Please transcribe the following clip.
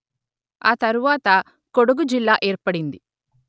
ఆ తరువాత కొడగు జిల్లా ఏర్పడింది